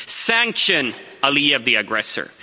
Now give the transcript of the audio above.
Sanction Aliyev, the aggressor.